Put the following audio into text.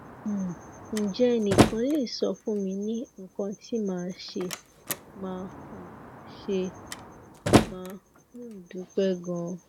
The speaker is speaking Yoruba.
um nje enikan le sofun mi ni ikan ti ma se ma um se ma um dupe gan